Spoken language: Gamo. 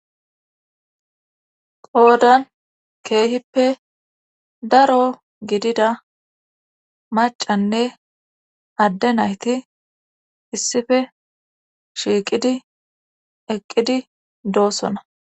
Qoodan keehippe daro gidida macanne adde nayti issife shiiqidi eqqidi doossona.